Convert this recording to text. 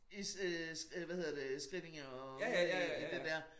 I øh øh hvad hedder det Skrillinge og ude i i det dér